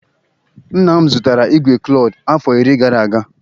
Nna m zụtara igwe klord afọ iri gara aga